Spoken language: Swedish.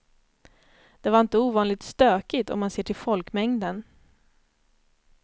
Det var inte ovanligt stökigt om man ser till folkmängden.